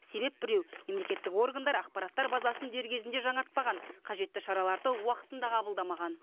себеп біреу мемлекеттік органдар ақпараттар базасын дер кезінде жаңартпаған қажетті шараларды уақытында қабылдамаған